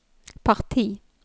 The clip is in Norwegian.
parti